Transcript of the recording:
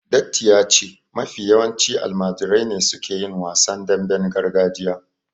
Datti ya ce mafi yawanci almajirai ne suke yin wasan damben gargajiya